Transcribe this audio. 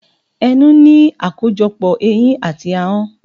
Ẹnu ní akojopo eyín àti ahọ́n.